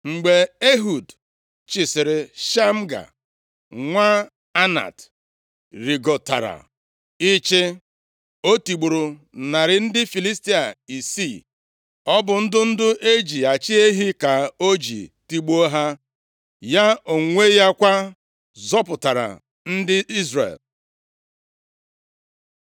Mgbe Ehud chịsịrị, Shamga, nwa Anat rịgotara ịchị. O tigburu narị ndị Filistia isii. Ọ bụ ndụdụ e ji achị ehi ka o ji tigbuo ha. Ya onwe ya kwa, zọpụtara ndị Izrel.